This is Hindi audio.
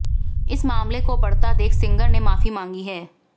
इस मामले को बढ़ता देख सिंगर ने मांफी मांगी है